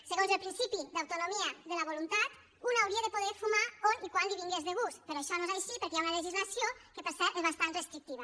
segons el principi d’autonomia de la voluntat un hauria de poder fumar on i quan li vingués de gust però això no és així perquè hi ha una legislació que per cert és bastant restrictiva